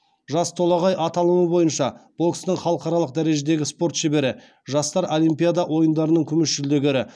жас толағай аталымы бойынша бокстың халықаралық дәрежедегі спорт шебері жастар олимпиада ойындарының күміс жүлдегері